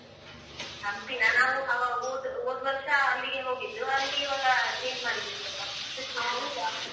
ಹಂಪಿನ ನಾವು ಆ ಹೋದ್ ಹೋದ್ ವರ್ಷ ಅಲ್ಲಿಗೆ ಹೋಗಿದ್ದು ಅದಕ್ಕೆ ಇವಾಗ change ಮಾಡಿದಿವಿ ಸೊಲ್ಪ .